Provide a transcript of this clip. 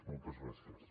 moltes gràcies